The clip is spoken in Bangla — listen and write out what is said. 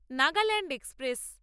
নাগাল্যান্ড এক্সপ্রেস